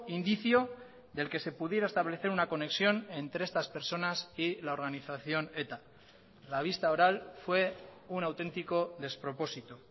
indicio del que se pudiera establecer una conexión entre estas personas y la organización eta la vista oral fue un auténtico despropósito